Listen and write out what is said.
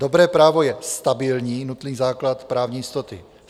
Dobré právo je stabilní - nutný základ právní jistoty.